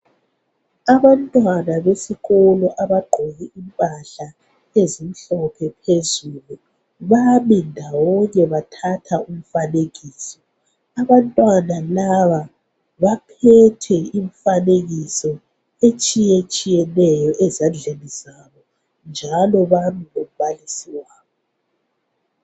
Abantwana besikolo abagqoke impahla ezimhlophe phezulu bami ndawonye bathatha umfanekiso abantwana laba baphethe imifanekiso etshiyetshiyeneyo ezandleni zabo njalo balombalisi wabo.